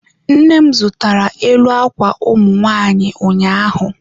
Nne m zụtara elu akwa ụmụ nwanyị ụnyaahụ.